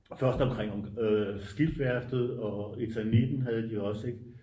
først omkring skibsværftet og etaniten havde de også ik